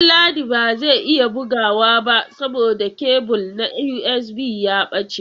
Danladi ba zai iya bugawa ba saboda kebul na USB ya ɓace.